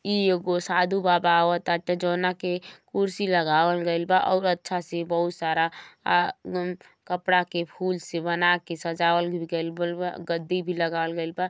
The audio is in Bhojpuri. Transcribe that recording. ई एगो साधु बाबा आवताटे जोना के कुर्सी लगावल गइल बा और अच्छा से बहुत सारा आ कपड़ा के फूल से बना के सजावल गइल बइल। गद्दी भी लगावल गइल बा।